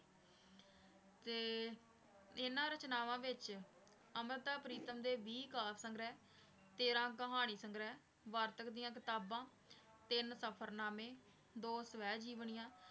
ਤੇ ਇਹਨਾਂ ਰਚਨਾਵਾਂ ਵਿੱਚ ਅੰਮ੍ਰਿਤਾ ਪ੍ਰੀਤਮ ਦੇ ਵੀਹ ਕਾਵਿ ਸੰਗ੍ਰਹਿ ਤੇਰਾਂ ਕਹਾਣੀ ਸੰਗ੍ਰਹਿ, ਵਾਰਤਕ ਦੀਆਂ ਕਿਤਾਬਾਂ, ਤਿੰਨ ਸਫ਼ਰਨਾਮੇ, ਦੋ ਸਵੈ ਜੀਵਨੀਆਂ